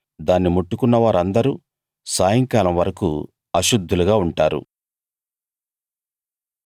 దాన్ని ముట్టుకున్న వారిందరూ సాయంకాలం వరకూ అశుద్ధులుగా ఉంటారు